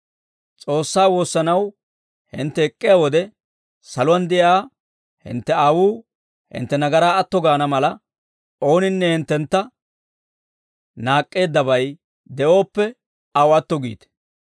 S'oossaa woossanaw hintte ek'k'iyaa wode, saluwaan de'iyaa hintte Aawuu hintte nagaraa atto gaana mala, ooninne hinttentta naak'k'eeddabay de'ooppe, aw atto giite.